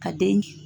Ka den